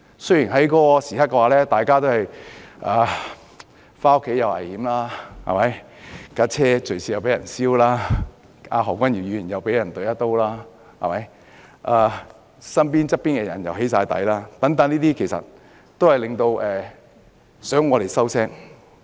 大家當時回家亦有危險，車輛又會隨時被焚燒，而何君堯議員更被插了一刀，身邊的朋友全皆被"起底"，但凡此種種，其實是想我們噤聲。